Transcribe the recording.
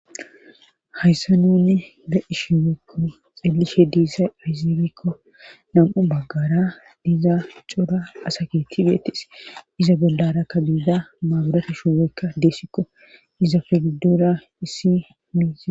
Hayssa nunne ge ishimbeykko xeelishe diissa izibikko nam'u baggara diiza ucora asaketi beetis iza bollarakka buiza maaburata shimweykka deessikko iza fegdora issi miizi.